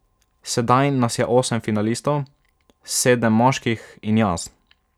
Sedaj nas je osem finalistov, sedem moških in jaz.